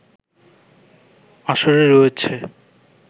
আসরে রয়েছে